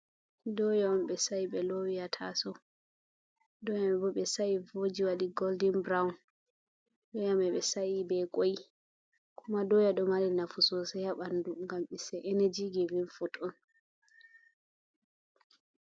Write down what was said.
Doya on ɓe sa"i ɓe lowi hataso, doya ni bo be sai voji waɗi goldin burawun, doyamai ɓe sai ɓe koi, kuma doya do mari nafu sosai haɓandu, ngam iss e eneji givin fut on.